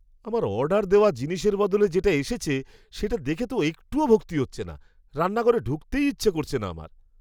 আমার অর্ডার দেওয়া জিনিসের বদলে যেটা এসেছে সেটা দেখে তো একটুও ভক্তি হচ্ছে না। রান্নাঘরে ঢুকতেই ইচ্ছা করছে না আমার।